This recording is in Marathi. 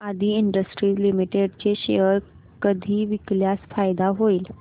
आदी इंडस्ट्रीज लिमिटेड चे शेअर कधी विकल्यास फायदा होईल